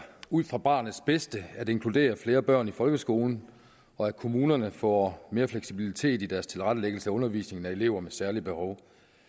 ud fra barnets bedste at inkludere flere børn i folkeskolen og at kommunerne får mere fleksibilitet i deres tilrettelæggelse af undervisningen af elever med særlige behov